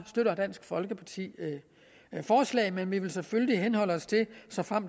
støtter dansk folkeparti forslaget men vi vil selvfølgelig henholde os til at